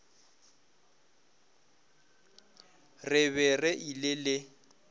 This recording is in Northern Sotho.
re be re ile le